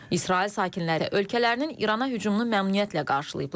İsrail sakinləri ölkələrinin İrana hücumunu məmnuniyyətlə qarşılayıblar.